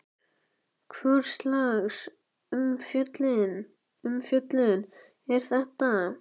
Hvurslags umfjöllun er þetta?